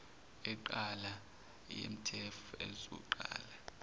enqala yemtef ezoqala